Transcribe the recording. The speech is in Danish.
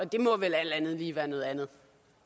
det må vel alt andet lige være noget andet